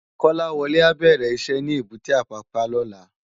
Kolawole á bèrè iṣè ni ébùté Apapa lòlá